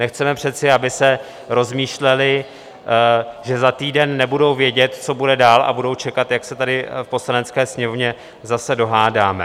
Nechceme přece, aby se rozmýšleli, že za týden nebudou vědět, co bude dál, a budou čekat, jak se tady v Poslanecké sněmovně zase dohádáme.